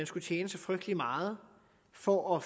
skulle tjene så frygtelig meget for at